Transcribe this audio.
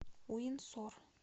уинсор